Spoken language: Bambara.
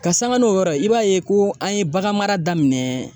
Ka sanga n'o yɔrɔ ye, i b'a ye ko an ye bagan mara daminɛ.